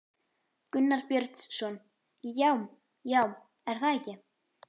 Gunnar Björnsson: Já, já, er það ekki?